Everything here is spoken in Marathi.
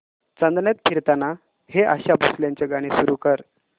चांदण्यात फिरताना हे आशा भोसलेंचे गाणे सुरू कर